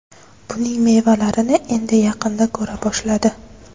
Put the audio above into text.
Buning mevalarini endi yaqinda ko‘ra boshladi.